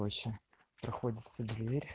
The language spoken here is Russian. проходится в дверь